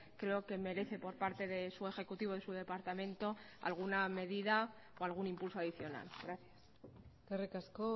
creo que merece por parte de su ejecutivo y su departamento alguna medida o algún impulso adicional gracias eskerrik asko